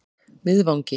Miðvangi